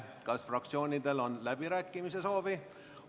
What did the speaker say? Kas fraktsioonidel on läbirääkimiste soovi?